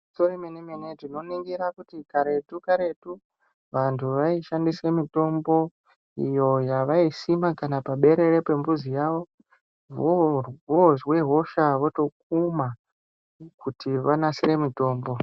Gwinyiso remene mene tinoningira kuti karetu karetu vantu vaishandise mitombo iyo yavaisima kana paberere pembuzi yawo vozwe hosha votokuma kuti vanasire mitombo.